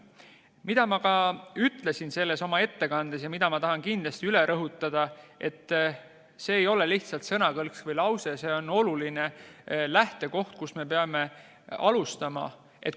Mida ma ütlesin oma ettekandes ja mida ma tahan kindlasti üle rõhutada, on see, et see ei ole lihtsalt sõnakõlks või lause, vaid see on oluline lähtekoht, kust me peame alustama.